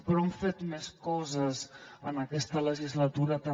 però hem fet més coses en aquesta legislatura també